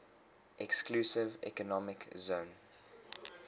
exclusive economic zone